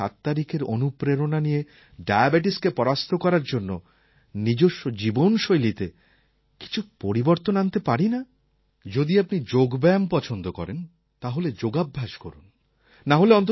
আমরা কি ৭ তারিখের অনুপ্রেরণা নিয়ে ডায়াবেটিসকে পরাস্ত করার জন্য নিজস্ব জীবনশৈলিতে কিছু পরিবর্তন আনতে পারি না যদি আপনি যোগব্যায়ামে রুচি রাখেন তাহলে যোগাভ্যাস করুন